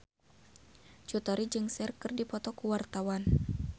Cut Tari jeung Cher keur dipoto ku wartawan